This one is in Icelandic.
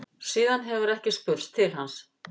Síðan hefur ekki spurst til hans